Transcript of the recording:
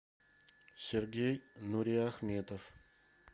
сергей нуриахметов